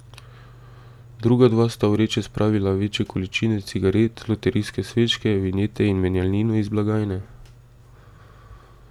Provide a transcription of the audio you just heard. Druga dva sta v vreče spravila večje količine cigaret, loterijske srečke, vinjete in menjalnino iz blagajne.